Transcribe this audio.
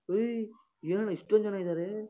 ಹೋಯಿ ಏನಣ್ಣ ಇಷ್ಟೊಂದ್ ಜನ ಇದಾರೆ?